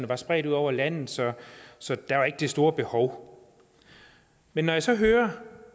var spredt ud over landet så så der var ikke det store behov men når jeg så hører